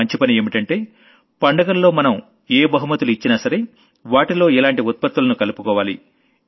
చాలా మంచి పని ఏంటంటే పండుగల్లో మనం ఏ గిఫ్ట్ లు ఇచ్చినా సరే వాటిలో ఇలాంటి ప్రాడక్ట్ లను కలుపుకోవాలి